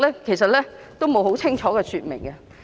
這些並無清楚說明。